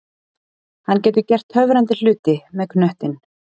Hann getur gert töfrandi hluti með knöttinn.